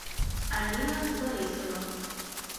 алина борисова